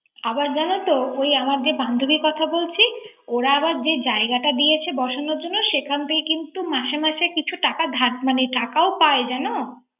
আবার জানোত। এই আমার যে বান্ধুবির কথা বলছি ওরা আবার যে জায়গাটা দিয়েছে বসানোর জন্য সেখান থেকে কিন্তু মাসে মাসে কিছু টাকা ধার মানে টাকাও পায় জানো।